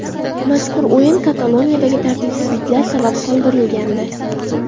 Mazkur o‘yin Kataloniyadagi tartibsizlar sabab qoldirilgandi .